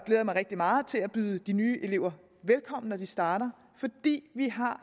jeg mig rigtig meget til at byde de nye elever velkommen når de starter vi har